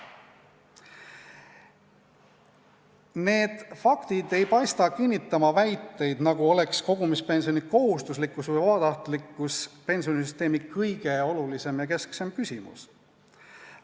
Need faktid ei paista kinnitavat väiteid, nagu oleks kogumispensioni kohustuslikkus või vabatahtlikkus pensionisüsteemi kõige olulisem ja kesksem küsimus.